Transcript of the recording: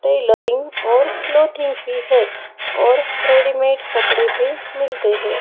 Tailoring और clothing भी है और रेडीमेड कपड़े भी मिलते है।